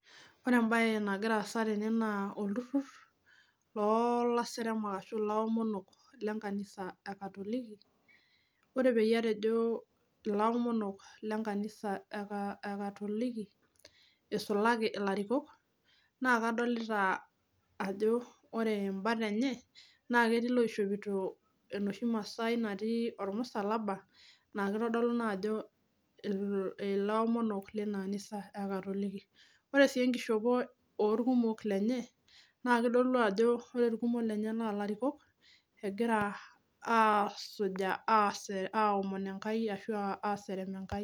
Ore embaye nagira aasa tene naa olturrur loolaseremak ashu ilaomonok lenkanisa ekatoliki ore peyie atejo ilaomonok lenkanisa eka ekatoliki isulaki ilarikok naa kadolita ajo ore imbat enye naa ketii iloishopito enoshi masaai natii ormusalaba naa kitodolu naa ajo ila ilaomonok lena anisa ekatoliki ore sii enkishopo orkumok lenye naa kitodolu ajo ore irkumok lenye naa ilarikok egira aasuja asere aomon Enkai ashu aserem Enkai.